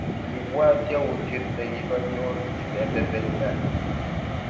kiipwat yautyet nekikanyor inendet eng tai